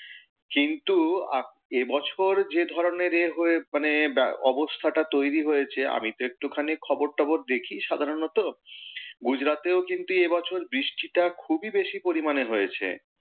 কিন্তু এবছর যে ধরণের এ হয়ে মানে অবস্থাটা তৈরী হয়েছে, আমি তো একটু খানি খবর টবর দেখি সাধারণত। গুজরাতেও কিন্তু এ বছর বৃষ্টিটা খুবই বেশী পরিমাণে হয়েছে। কিন্তু,